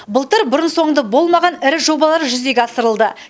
былтыр бұрын соңды болмаған ірі жобалар жүзеге асырылды